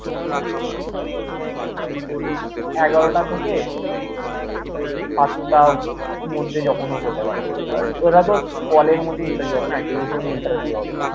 এগারোটা থেকে সাতটা মধ্যে যখনও হতে পারে। আর ওটা তোর call এর মধ্যেই থাকবে। না হয় টেলিফোন এ interview হবে